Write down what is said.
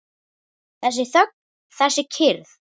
Þessi þögn, þessi kyrrð!